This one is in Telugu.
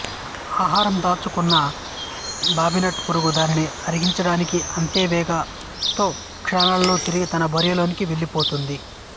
ఆహారం దొరకపుచ్చుకొన్న బాబిట్ పురుగు దానిని ఆరగించడానికి అంతే వేగంతో క్షణాలలో తిరిగి తన బొరియ లోనికి వెళ్ళిపోతుంది